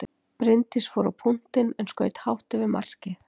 Bryndís fór á punktinn en skaut hátt yfir markið.